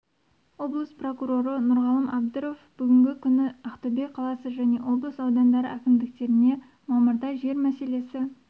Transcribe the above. облыс прокуроры нұрғалым әбдіров бүгінгі күні ақтөбе қаласы және облыс аудандары әкімдіктеріне мамырда жер мәселесі